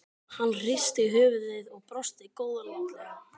Hann hristi höfuðið og brosti góðlátlega.